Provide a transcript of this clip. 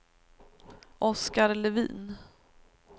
Oskar Levin